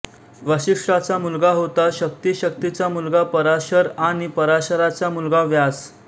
वसिष्ठाचा मुलगा होता शक्ति शक्तीचा मुलगा पराशर आणि पराशरांचा मुलगा व्यास